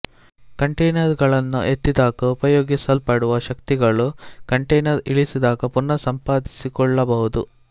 container ಗಳನ್ನು ಎತ್ತಿದಾಗ ಉಪಯೋಗಿಸಲ್ಪಡುವ ಶಕ್ತಿಗಳು ಕಂಟೇನರ್ ಇಳಿಸಿದಾಗ ಪುನಃ ಸಂಪಾದಿಸಿಕೊಳ್ಳಬಹುದು